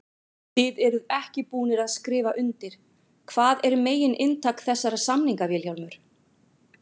Þið eruð ekki búnir að skrifa undir, hvað er megin inntak þessara samninga Vilhjálmur?